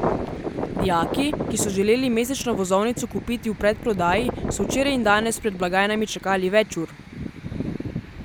Dijaki, ki so želeli mesečno vozovnico kupiti v predprodaji, so včeraj in danes pred blagajnami čakali več ur.